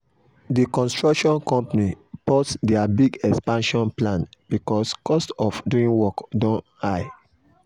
the construction company pause their big expansion plan because cost of doing work don high.